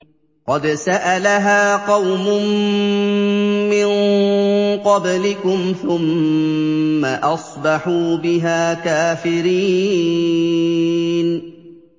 قَدْ سَأَلَهَا قَوْمٌ مِّن قَبْلِكُمْ ثُمَّ أَصْبَحُوا بِهَا كَافِرِينَ